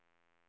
Blidsberg